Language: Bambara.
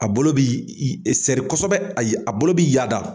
A bolo bɛ i iser kosɛbɛ ayi a bolo b'i yaada.